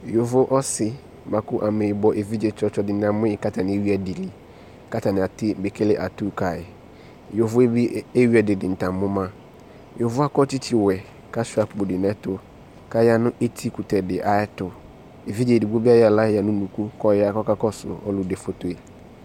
Yovo ɔse boako amɛbɔ evidze dene amoe ko atane ewi ɛde liAtane ate be kele atu kae Yovoe be eei adedenta amo ma Yovoe akɔ tsetsewɛ ko asua akpo de no ɛto ko aya no etikutɛ de ayɛto Evidze edigbo be ayɔ ala yia no unuku ko ɔya ko ka kɔso alude fotoe